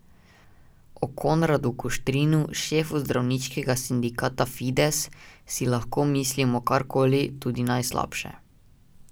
O Konradu Kuštrinu, šefu zdravniškega sindikata Fides, si lahko mislimo kar koli, tudi najslabše.